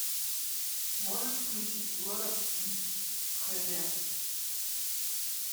можешь включить лорекс хд